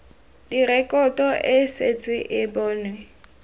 direkoto e setse e bonwe